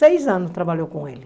Seis anos trabalhou com ele.